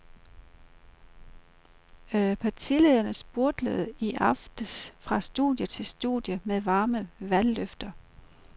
Partilederne spurtede i aftes fra studie til studie med varme valgløfter.